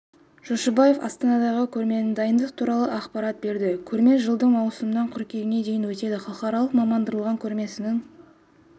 жошыбаев астанадағы көрмесіне дайындық туралы ақпарат берді көрме жылдың маусымынан қыркүйегіне дейін өтеді халықаралық мамандандырылған көрмесінің